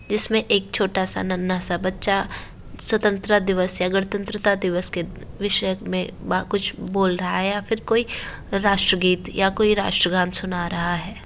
जिसमे एक छोटा सा नन्हा सा बच्चा स्वतंत्रता दिवस या गणतंत्रता दिवस के विषयक मे ब कूछ बोल रहा है या फिर कोई राष्ट्र गीत या कोई राष्ट्र गान सुना रहा है।